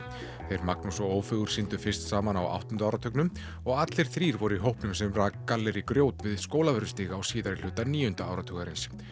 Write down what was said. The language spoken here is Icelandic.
þeir Magnús og Ófeigur sýndu fyrst saman á áttunda áratugnum og allir þrír voru í hópnum sem rak gallerí grjót við Skólavörðustíg á síðari hluta níunda áratugarins